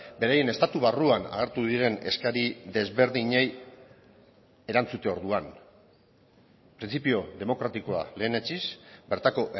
beraien estatu barruan hartu diren eskari desberdinei erantzute orduan printzipio demokratikoa lehenetsiz bertako